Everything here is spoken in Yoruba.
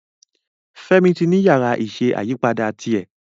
Femi tí ní Yàrá iṣẹ́ ayípadà yí tiè.